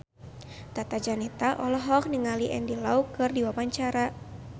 Tata Janeta olohok ningali Andy Lau keur diwawancara